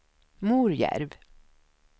Morjärv